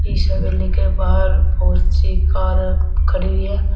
इस हवेली के बाहर बहुत सी कार खड़ी हुई हैं।